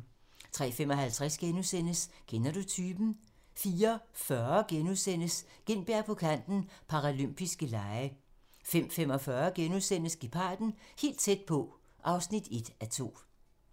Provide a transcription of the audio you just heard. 03:55: Kender du typen? * 04:40: Gintberg på Kanten - Paralympiske Lege * 05:45: Geparden - helt tæt på (1:2)*